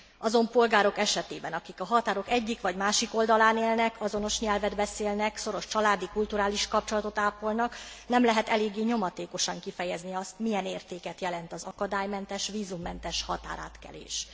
Azon polgárok esetében, akik a határok egyik vagy másik oldalán élnek, azonos nyelvet beszélnek, szoros családi, kulturális kapcsolatot ápolnak, nem lehet eléggé nyomatékosan kifejezni azt, milyen értéket jelent az akadálymentes, vízummentes határátkelés.